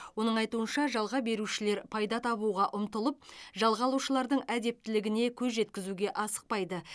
оның айтуынша жалға берушілер пайда табуға ұмтылып жалға алушылардың әдептілігіне көз жеткізуге асықпайды